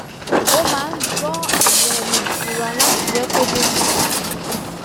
ó máa n gbọ́ àwọn ohùn ìtura láti jẹ́ kó tètè sùn